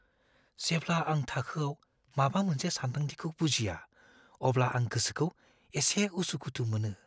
जेब्ला आं थाखोआव माबा मोनसे सानदांथिखौ बुजिया, अब्ला आं गोसोखौ एसे उसु-खुथु मोनो।